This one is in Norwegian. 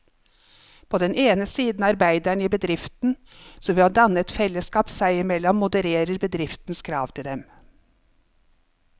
På den ene side arbeiderne i bedriften, som ved å danne et fellesskap seg imellom modererer bedriftens krav til dem.